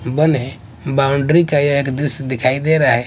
बने बाउंड्री का यह एक दृश्य दिखाई दे रहा है।